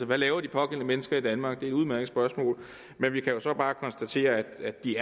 hvad laver de pågældende mennesker i danmark det er et udmærket spørgsmål men vi kan jo så bare konstatere at de